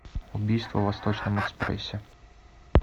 убийство в восточном экспрессе